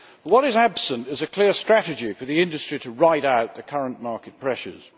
What is absent is a clear strategy for the industry to ride out the current market pressures.